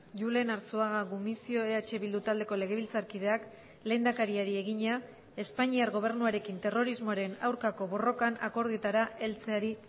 julen arzuaga gumuzio eh bildu taldeko legebiltzarkideak lehendakariari egina espainiar gobernuarekin terrorismoaren aurkako borrokan akordioetara heltzeari